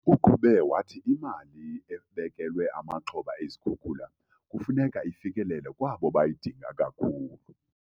Uqhube wathi imali ebekelwe amaxhoba ezikhukula kufuneka ifikelele kwabo bayidinga kakhulu.